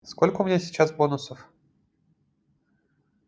сколько у меня сейчас бонусов